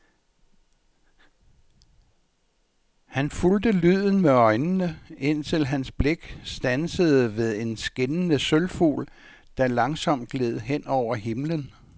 Han fulgte lyden med øjnene, indtil hans blik standsede ved en skinnende sølvfugl, der langsomt gled hen over himlen.